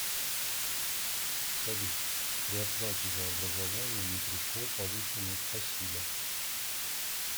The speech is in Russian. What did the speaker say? салют при оплате за образование не пришел повышенный спасибо